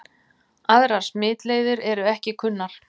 Aðrar smitleiðir eru ekki kunnar.